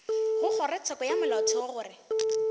go kgorotsheko ya molaotheo gore